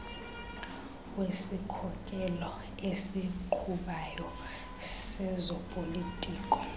wesikhokelo esiqhubayo sezopolitiko